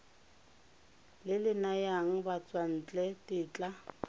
le le nayang batswantle tetla